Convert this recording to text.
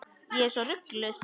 Ég er svo rugluð.